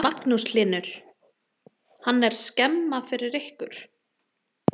Magnús Hlynur: Hann er skemma fyrir ykkur?